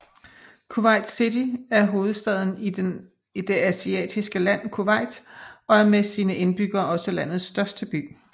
Kuwait City er hovedstaden i det asiatiske land Kuwait og er med sine indbyggere også landets største by